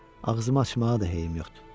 Ağzımı açmağa da heyim yoxdur.